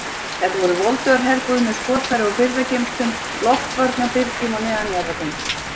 Þetta voru voldugar herbúðir með skotfæra og birgðageymslum, loftvarnarbyrgjum og neðanjarðargöngum.